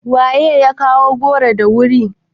Wa ya kawo goro da wuri?